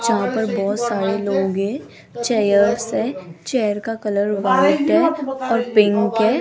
जहां पर बहोत सारे लोग है चेयर्स है चेयर का कलर व्हाइट है और पिंक है।